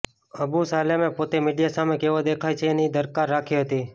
અબુ સાલેમે પોતે મીડિયા સામે કેવો દેખાય છે એની દરકાર રાખી હતી